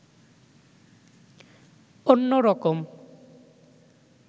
অন্যরকম